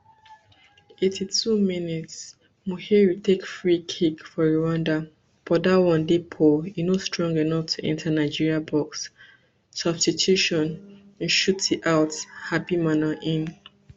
eighty-two mins muhire take free kick for rwanda but dat one dey poor e no strong enough reach to enta into nigeria box substitutionn shuti out habimana in